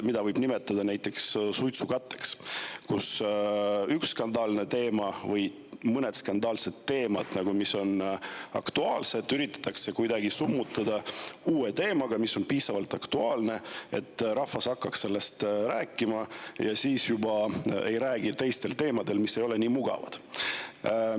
Seda võib nimetada näiteks suitsukatteks, mille puhul üks skandaalne teema või mõned skandaalsed teemad, mis on aktuaalsed, üritatakse kuidagi summutada uue teemaga, mis on piisavalt aktuaalne, et rahvas hakkaks sellest rääkima ja ei räägiks teistel teemadel, mis ei ole nii mugavad.